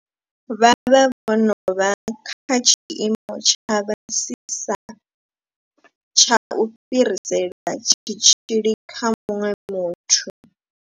Vha vha vho no vha kha tshiimo tsha fhasisa tsha u fhirisela tshitzhili kha muṅwe muthu.